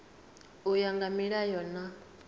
u ya nga milayo na